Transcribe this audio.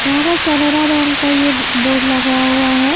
यहा पे केनरा बैंक का ये बोर्ड लगाया हुआ है।